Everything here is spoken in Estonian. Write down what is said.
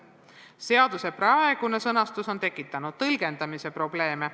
Seaduse praegune sõnastus on tekitanud tõlgendamise probleeme.